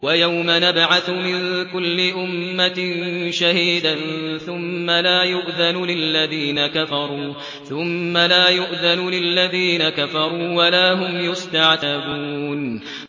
وَيَوْمَ نَبْعَثُ مِن كُلِّ أُمَّةٍ شَهِيدًا ثُمَّ لَا يُؤْذَنُ لِلَّذِينَ كَفَرُوا وَلَا هُمْ يُسْتَعْتَبُونَ